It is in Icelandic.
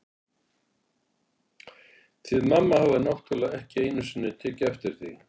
Þið mamma hafið náttúrlega ekki einu sinni tekið eftir því.